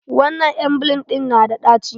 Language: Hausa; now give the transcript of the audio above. Wannan emgyl ɗin yana da ɗaci.